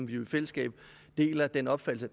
vi i fællesskab deler den opfattelse